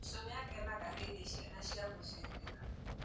Cucu nĩakenaga hĩndĩ ciana ciamũcerera